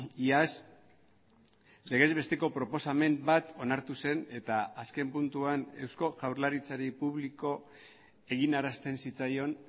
iaz legez besteko proposamen bat onartu zen eta azken puntuan eusko jaurlaritzari publiko eginarazten zitzaion